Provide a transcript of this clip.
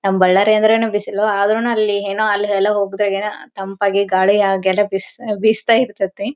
ನಮ್ಮ್ ಬಳ್ಳಾರಿ ಅಂದ್ರೇನೆ ಬಿಸಿಲು ಆದ್ರೂನು ಅಲ್ಲಿ ಏನೋ ಅಲ್ಲಿ ಎಲ್ಲ ಹೋಗಿದ್ರೆ ತಂಪಾಗಿ ಗಾಳಿ ಆಗೆಲ್ಲ ಬಿಸ್ ಬೀಸ್ತಾ ಇರ್ತದೆ.